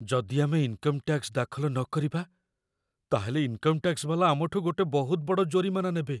ଯଦି ଆମେ income tax ଦାଖଲ ନକରିବା, ତା'ହେଲେ ଇନ୍କମ ଟ୍ୟାକ୍ସ ବାଲା ଆମଠୁ ଗୋଟେ ବହୁତ ବଡ଼ ଜୋରିମାନା ନେବେ ।